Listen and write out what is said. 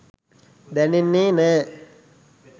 දැනෙන්නේ නෑ